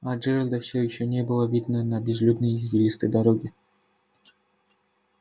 а джералда все ещё не было видно на безлюдной извилистой дороге